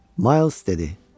Miles dedi: